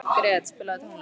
Gret, spilaðu tónlist.